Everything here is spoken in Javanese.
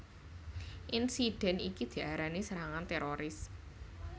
Insidèn iki diarani serangan téroris